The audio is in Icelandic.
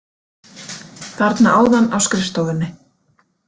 Þarna áðan á skrifstofunni.